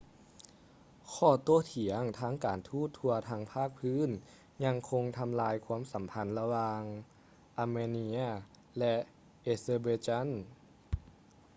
ຂໍ້ໂຕ້ຖຽງທາງການທູດທົ່ວທັງພາກພື້ນຍັງຄົງທໍາລາຍຄວາມສໍາພັນລະຫວ່າງ armenia ແລະ azerbaijan